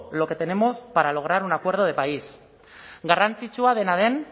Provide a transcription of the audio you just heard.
lo que tenemos para lograr un gran acuerdo de país garrantzitsua dena den